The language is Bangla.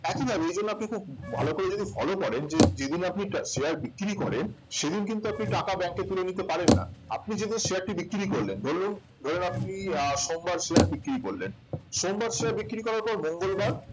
একই ভাবে এগুলো আপনি যদি খুব ভালো করে যদি follow করেন যে যেদিন আপনি share বিক্রি করেন সেদিন কিন্তু আপনি টাকা bank এ তুলে নিতে পারেন না আপনি যদি share টি বিক্রি করলেন ধরুন ধরুন আপনি আহ সোমবার share বিক্রি করলেন সোমবার share বিক্রি করার পর মঙ্গলবার